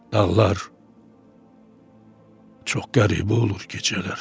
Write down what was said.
Dağlar çox qəribə olur gecələr.